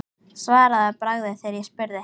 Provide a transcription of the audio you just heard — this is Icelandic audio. Svaraði að bragði þegar ég spurði.